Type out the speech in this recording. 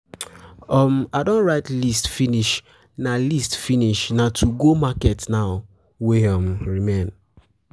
um I don write list finish na, na list finish na to go market now wey um remain.